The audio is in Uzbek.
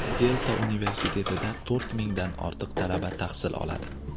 Delta universitetida to‘rt mingdan ortiq talaba tahsil oladi.